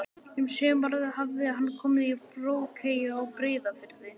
Um sumarið hafði hann komið í Brokey á Breiðafirði.